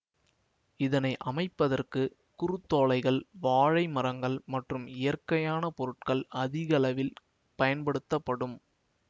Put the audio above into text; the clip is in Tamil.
இதனை அமைப்பதற்கு குருத்தோலைகள் வாழை மரங்கள் மற்றும் இயற்கையான பொருட்கள் அதிகளவில் பயன்படுத்தப்படும்